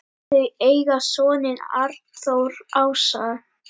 Þau eiga soninn Arnþór Ása.